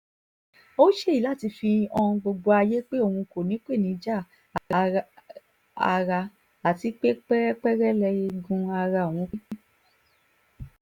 ó ṣèyí láti fi han gbogbo ayé pé òun kò nípèníjà ara àti pé pérépéré lẹ́ẹ̀gùn ara òun pé